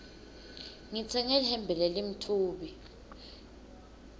ngitsenge lihembe lelimtfubi